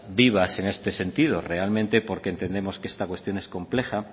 vivas en este sentido realmente porque entendemos que esta cuestión es compleja